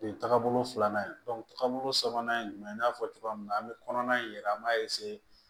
O ye taabolo filanan ye taabolo sabanan ye jumɛn i y'a fɔ cogoya min na an bɛ kɔnɔna in yɛrɛ an b'a